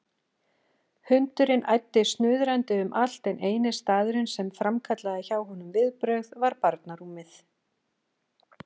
Hundurinn æddi snuðrandi um allt en eini staðurinn sem framkallaði hjá honum viðbrögð var barnarúmið.